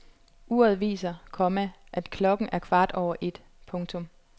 Uret viser, komma at klokken er kvart over et. punktum